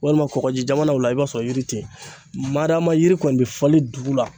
Walima kɔkɔji jamanaw la i b'a sɔrɔ yiri te ye. Madama yiri kɔni be falen dugu la